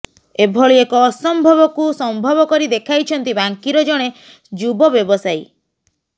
ଏଭଳି ଏକ ଅସମ୍ଭବକୁ ସମ୍ଭବ କରି ଦେଖାଇଛନ୍ତି ବାଙ୍କୀର ଜଣେ ଯୁବବ୍ୟବସାୟୀ